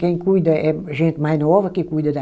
Quem cuida é gente mais nova que cuida da...